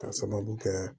K'a sababu kɛ